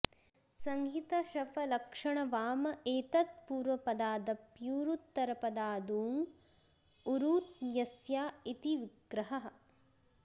संहित शफ लक्षण वाम एतत्पूर्वपदादप्यूरूत्तरपदादूङ् ऊरू यस्या इति विग्रहः